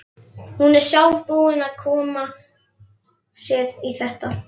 Hún er sjálf búin að koma sér í þetta.